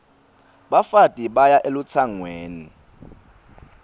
bafati baya elutsangweni